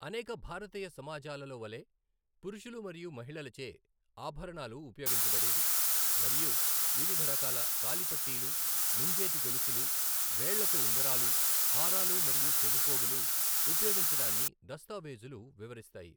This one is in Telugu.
అనేక భారతీయ సమాజాలలో వలె, పురుషులు మరియు మహిళలచే ఆభరణాలు ఉపయోగించబడేవి మరియు వివిధ రకాల కాలిపట్టీలు, ముంజేతి గొలుసులు, వేళ్ళకు ఉంగరాలు, హారాలు మరియు చెవిపోగులు ఉపయోగించడాన్ని దస్తావేజులు వివరిస్తాయి.